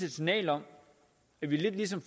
et signal om at vi lidt ligesom